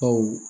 Aw